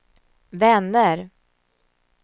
vänner